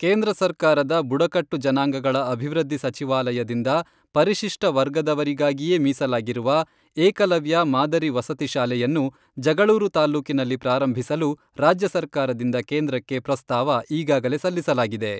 ಕೇಂದ್ರ ಸರ್ಕಾರದ ಬುಡಕಟ್ಟು ಜನಾಂಗಗಳ ಅಭಿವೃದ್ಧಿ ಸಚಿವಾಲಯದಿಂದ ಪರಿಶಿಷ್ಟ ವರ್ಗದವರಿಗಾಗಿಯೇ ಮೀಸಲಾಗಿರುವ, ಏಕಲವ್ಯ ಮಾದರಿ ವಸತಿ ಶಾಲೆಯನ್ನು ಜಗಳೂರು ತಾಲ್ಲೂಕಿನಲ್ಲಿ ಪ್ರಾರಂಭಿಸಲು ರಾಜ್ಯ ಸರ್ಕಾರದಿಂದ ಕೇಂದ್ರಕ್ಕೆ ಪ್ರಸ್ತಾವ ಈಗಾಗಲೇ ಸಲ್ಲಿಸಲಾಗಿದೆ.